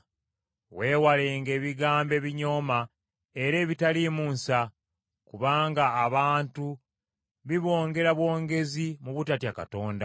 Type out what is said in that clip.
Weewalenga ebigambo ebinyooma era ebitaliimu nsa, kubanga abantu bibongera bwongezi mu butatya Katonda.